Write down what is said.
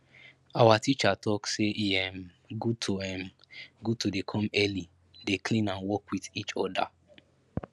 awa teacher talk say e um good to um good to dey come early dey clean and work wit each oda